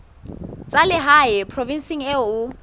tsa lehae provinseng eo o